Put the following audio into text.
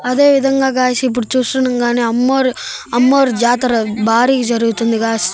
అదేవిధంగా గాయ్స్ ఇప్పుడు చూస్తుండగానే అమ్మోరు అమ్మోరు జాతర భారీగా జరుగుతుంది గాయ్స్ .